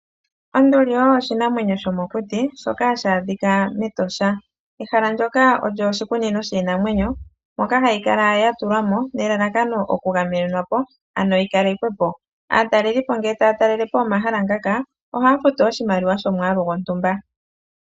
Onduli oyo oshinamwenyo shomokuti shoka hashi adhika mEtosha. Ehala ndyoka olyo oshikunino shiinamwenyo moka hayi kala yatulwa mo nelalakano okugamenenwa po ano yikalekwe po. Aatalelelipo ngele taya talele po omahala ngaka ohaya futu oshimaliwa shomwaalu gwontumba.